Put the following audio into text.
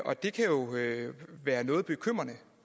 og det kan jo være noget bekymrende